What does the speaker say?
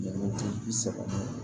Ti bi seg'a ma